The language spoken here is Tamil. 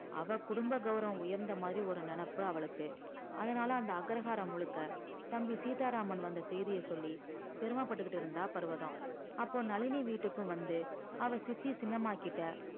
அவ குடும்ப கௌரவம் உயர்ந்த மாதிரி ஒரு நினப்பு அவளுக்கு அதனால அந்த அக்ரஹாரம் முழுக்க தம்பி சீதாராமன் வந்த செய்திய சொல்லி பெருமப்பட்டுக்கிட்டு இருந்தா பர்வதம் அப்போ நளினி வீட்டுக்கும் வந்து அவ சித்தி சின்னம்மாகிட்ட